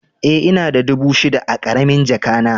E, ina da dubu shida a karamin jaka na.